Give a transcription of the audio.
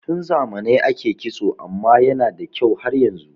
Tun zamanai ake kitso amma yana da kyau har yanzu